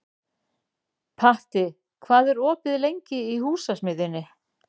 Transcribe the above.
Patti, hvað er opið lengi í Húsasmiðjunni?